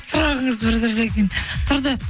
сұрағыңыз бір түрлі екен тұрды